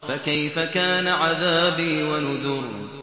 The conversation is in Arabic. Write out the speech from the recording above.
فَكَيْفَ كَانَ عَذَابِي وَنُذُرِ